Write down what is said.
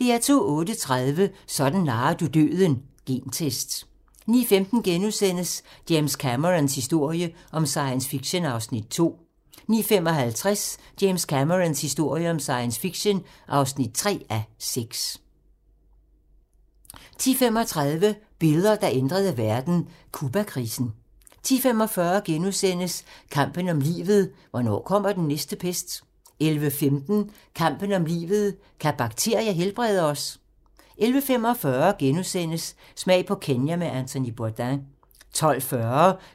08:30: Sådan narrer du døden - gentest 09:15: James Camerons historie om science fiction (2:6)* 09:55: James Camerons historie om science fiction (3:6) 10:35: Billeder, der ændrede verden: Cubakrisen 10:45: Kampen om livet - hvornår kommer den næste pest? * 11:15: Kampen om livet - kan bakterier helbrede os? 11:45: Smag på Kenya med Anthony Bourdain * 12:40: